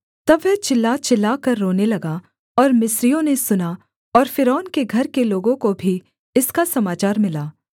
तब वह चिल्ला चिल्लाकर रोने लगा और मिस्रियों ने सुना और फ़िरौन के घर के लोगों को भी इसका समाचार मिला